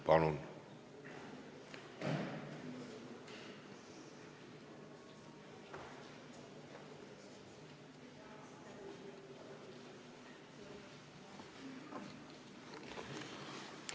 Palun!